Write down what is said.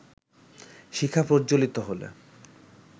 শিখা প্রজ্জ্বলিত হলে